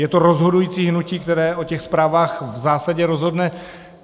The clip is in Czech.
Je to rozhodující hnutí, které o těch zprávách v zásadě rozhodne.